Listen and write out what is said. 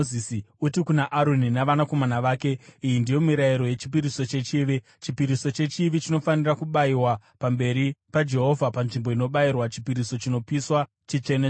“Uti kuna Aroni navanakomana vake, ‘Iyi ndiyo mirayiro yechipiriso chechivi. Chipiriso chechivi chinofanira kubayiwa pamberi paJehovha panzvimbo inobayirwa chipiriso chinopiswa; chitsvene-tsvene.